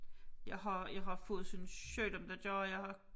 Jeg har jeg har fået sådan en sygdom der gør jeg har